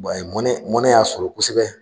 a ye mɔnɛ y'a sɔrɔ kosɛbɛ